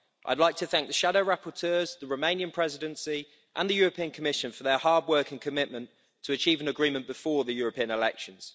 I'd like to thank the shadow rapporteurs, the Romanian Presidency, and the European Commission for their hard work and commitment to achieve an agreement before the European elections.